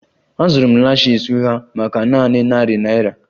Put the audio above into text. Azụrụ m lashes ụgha maka nanị narị naira